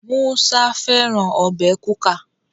Musa fẹràn Ọbẹ̀ kuka.